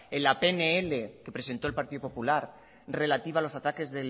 en la pnl que presentó el partido popular relativa a los ataques